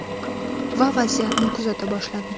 Va vaziyatni kuzata boshladim.